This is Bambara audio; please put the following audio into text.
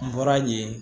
N bɔra yen